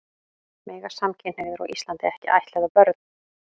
Mega samkynhneigðir á Íslandi ekki ættleiða börn?